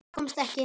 Komst ekki.